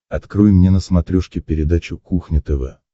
открой мне на смотрешке передачу кухня тв